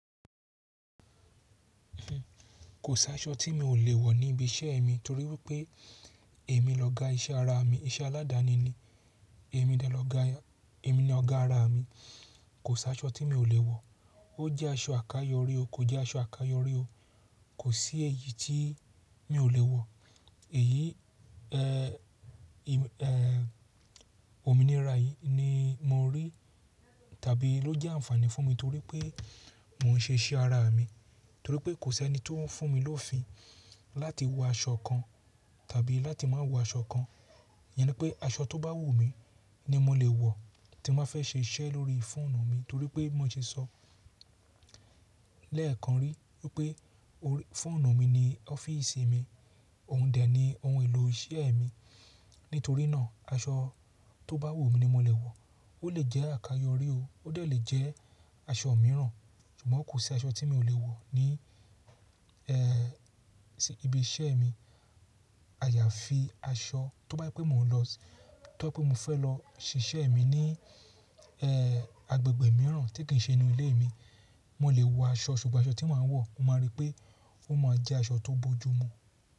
Kò sí aṣọ tí mi ò lè wọ̀ ní ibi iṣẹ́ mi torí wípé èmi l'ọga iṣẹ́ ara mi, iṣẹ́ aládani ni. Èmi dẹ̀ lọ̀gá Èmi ni ọ̀gá ara mi. Kò sí aṣọ tí mi ò lè wọ̀. Ó jẹ́ aṣọ àkayò orí o, kò jẹ́ aṣọ àkayò orí o. Kò sí èyí tí mi ò lè wọ̀. Ẹ̀yí, ẹ́, ominira yìí ni mo rí tàbí ló jẹ́ àǹfààní fún mi torí pé mò ń ṣe iṣẹ́ ara mi. Torí pé kò sí ẹni tí ó ń fún mi lófìn láti wọ aṣọ kan tàbí láti má wọ aṣọ kan. Iyaní pé aṣọ tó bá wù mí ni mo lè wọ̀ tí mobá fẹ́ ṣe iṣẹ́ lórí fóònù mi torí pé bí mó ṣe sọ lẹ́ẹ̀kan rí wípé fóònù mi ni ọ́fíìsì mi, òun dè ni ohun èlò iṣẹ́ mi. Nítorínà aṣọ tó bá wù mí ni mo lè wọ̀. Ó lè jẹ́ àkayò orí o, ó dè lè jẹ́ aṣọ mìíràn. Ṣùgbọ́n kò sí aṣọ tí mi ò lè wọ̀ ní, ẹ́, sí ibi iṣẹ́ mi. Àyàfi aṣọ tó bá jẹ̀ pé mò ń lọ-- tó pé mo fẹ́ lọ ṣìṣẹ́ mi ní, ẹ́, agbègbè mìíràn tí kì í ṣe inú ilé mi, mo lè wọ aṣọ. Ṣùgbọ́n aṣọ tí màá wọ̀, mo máa rí pé ó máa jẹ́ aṣọ tó bójú mu.